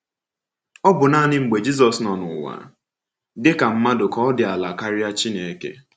Ọ̀ bụ naanị mgbe Jizọs nọ n’ụwa dị ka mmadụ ka ọ dị ala karịa Chineke?